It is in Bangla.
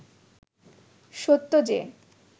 সত্য যে